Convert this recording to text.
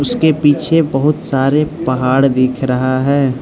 इसके पीछे बहुत सारे पहाड़ दिख रहा है।